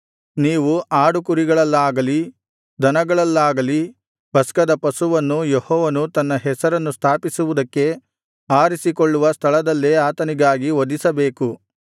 ನೀವು ಆಡು ಕುರಿಗಳಲ್ಲಾಗಲಿ ದನಗಳಲ್ಲಾಗಲಿ ಪಸ್ಕದ ಪಶುವನ್ನು ಯೆಹೋವನು ತನ್ನ ಹೆಸರನ್ನು ಸ್ಥಾಪಿಸುವುದಕ್ಕೆ ಆರಿಸಿಕೊಳ್ಳುವ ಸ್ಥಳದಲ್ಲೇ ಆತನಿಗಾಗಿ ವಧಿಸಬೇಕು